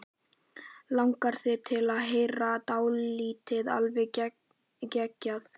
Langar þig til að heyra dálítið alveg geggjað?